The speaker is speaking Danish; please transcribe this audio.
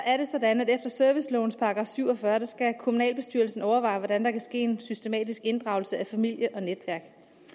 er det sådan at efter servicelovens § syv og fyrre skal kommunalbestyrelsen overveje hvordan der kan ske en systematisk inddragelse af familie og netværk